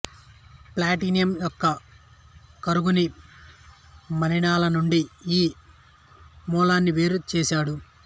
platinum యొక్క కరుగని మలినాలనుండి ఈ మూలకాన్ని వేరు చేసాడు